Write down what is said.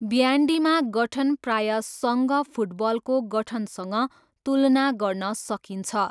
ब्यान्डीमा गठन प्रायः सङ्घ फुटबलको गठनसँग तुलना गर्न सकिन्छ।